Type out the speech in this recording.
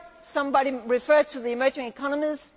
Somebody referred to the emerging economies.